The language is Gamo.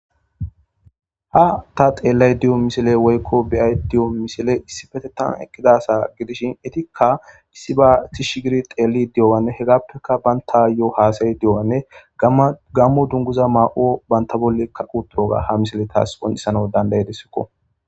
Ha ta xelayda deya woykon beyada deyo misiley issippetetan eqidi deyo asa gidishinka issiba tishi gidi xelidi diyoganne hesappeka bantayo hasayidi qama gamo dunguza mayoga banta bollika uttiyoga ha misiley tawu qoncisanaw dandayidesko